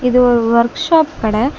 இது ஒரு வொர்க்ஷாப் கடை.